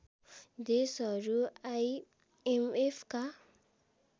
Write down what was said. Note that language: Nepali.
देशहरू आइएमएफका